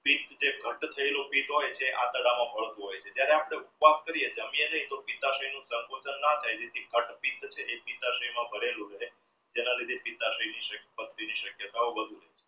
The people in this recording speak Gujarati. જે આંતરડામાં ભળતું હોય છે જ્યારે આપણે ઉપવાસ કરીએ જમ્યા નહિ તો સંકોચન ન થાય માં જેના લીધે પથરી ની શક્યતાઓ વધુ